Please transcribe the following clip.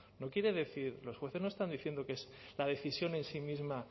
no quiere decir los jueces no están diciendo que la decisión en sí misma